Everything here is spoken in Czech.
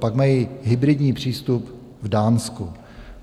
Pak mají hybridní přístup v Dánsku.